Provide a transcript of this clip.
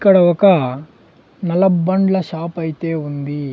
ఇక్కడ ఒక నలబండ్ల షాప్ అయితే ఉంది.